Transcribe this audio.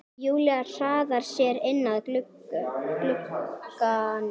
Júlía hraðar sér inn að glugganum.